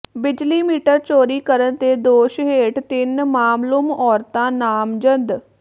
ਬਿਜਲੀ ਮੀਟਰ ਚੋਰੀ ਕਰਨ ਦੇ ਦੋਸ਼ ਹੇਠ ਤਿੰਨ ਨਾਮਲੂਮ ਔਰਤਾਂ ਨਾਮਜ਼ਦ